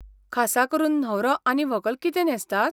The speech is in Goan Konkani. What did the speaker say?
खासा करून न्हवरो आनी व्हंकल कितें न्हेसतात?